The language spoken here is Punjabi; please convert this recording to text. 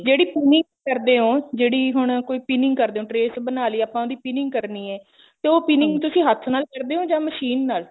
ਜਿਹੜੀ pinning ਕਰਦੇ ਹੋ ਜਿਹੜੀ ਹੁਣ ਕੋਈ pinning ਕਰਦੇ ਹੋ trace ਬਣਾ ਲਈ ਆਪਾਂ ਨੇ ਉਹਦੀ pinning ਕਰਨੀ ਹੈ ਤੇ ਉਹ pinning ਤੁਸੀਂ ਹੱਥ ਨਾਲ ਕਰਦੇ ਓ ਜਾਂ ਮਸ਼ੀਨ ਨਾਲ